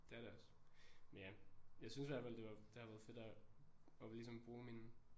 Det er det også. Men ja jeg synes i hvert fald det var det har været fedt at at ligesom bruge min